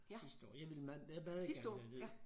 Sidste år jeg ville meget meget gerne derned